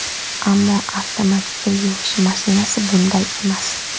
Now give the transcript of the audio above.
Ammo avtomat kir yuvish mashinasi bunday emas.